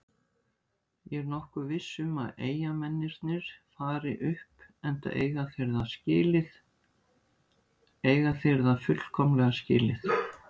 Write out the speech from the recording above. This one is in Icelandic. Ég er nokkuð viss um að Eyjamennirnir fari upp enda eiga þeir það fullkomlega skilið.